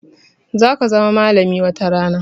Za ka zama malami watarana